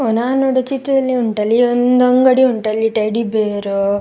ಓ ನಾನು ನೋಡುವ ಚಿತ್ರದಲ್ಲಿ ಉಂಟಲ್ಲ ಈ ಒಂದು ದೊಡ್ಡ ಅಂಗಡಿ ಉಂಟು ಅಲ್ಲಿ ಟೆಡ್ಡಿ ಬೇರ್ --